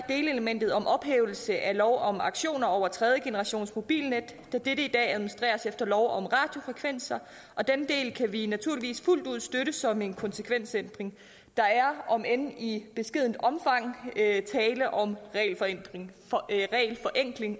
delelementet om ophævelse af lov om auktioner over tredjegenerationsmobilnet da dette i dag administreres efter lov om radiofrekvenser den del kan vi naturligvis fuldt ud støtte som en konsekvensændring der er om end i beskedent omfang tale om regelforenkling